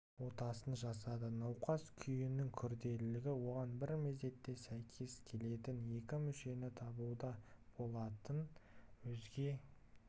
отасын жасады науқас күйінің күрделілігі оған бір мезетте сәйкес келетін екі мүшені табуда болатын өзге